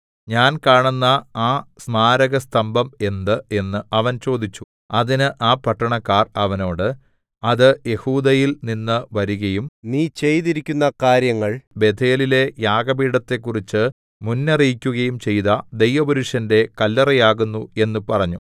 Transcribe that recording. ഞാൻ കാണുന്ന ആ സ്മാരകസ്തംഭം എന്ത് എന്ന് അവൻ ചോദിച്ചു അതിന് ആ പട്ടണക്കാർ അവനോട് അത് യെഹൂദയിൽനിന്ന് വരികയും നീ ചെയ്തിരിക്കുന്ന കാര്യങ്ങൾ ബേഥേലിലെ യാഗപീഠത്തെക്കുറിച്ച് മുന്നറിയിക്കയും ചെയ്ത ദൈവപുരുഷന്റെ കല്ലറയാകുന്നു എന്ന് പറഞ്ഞു